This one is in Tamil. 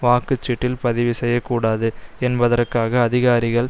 வாக்கு சீட்டில் பதிவு செய்ய கூடாது என்பதற்காக அதிகாரிகள்